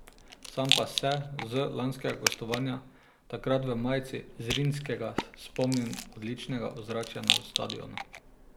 Sam pa se z lanskega gostovanja, takrat v majici Zrinjskega, spomnim odličnega ozračja na stadionu.